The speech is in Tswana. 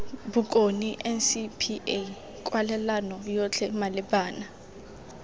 bokone ncpa kwalelano yotlhe malebana